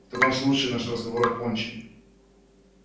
в таком случае наш разговор окончен